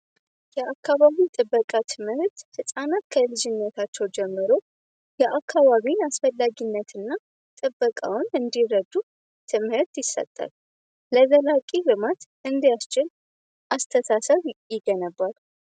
የአካባቢ ጥበቃ ትምህት ህፃናት ከልጅነታቸው ጀምሮ የአካባቢ አስፈላጊነትና ጥበቃውን እንዲረዱ ትምህርት ይሰጠል ለዘላቂ ልማት እንዲያስችል አስተሳሰብ ይገነባሉ።